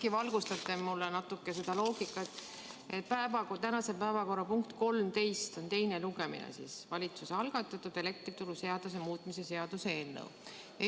Äkki valgustate mind natuke sel teemal, et tänase päevakorra punkt nr 13 on valitsuse algatatud elektrituruseaduse muutmise seaduse eelnõu teine lugemine.